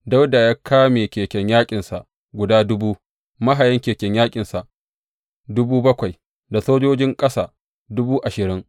Dawuda ya kame keken yaƙinsa guda dubu, mahayan keken yaƙinsa dubu bakwai, da sojojin ƙasa dubu ashirin.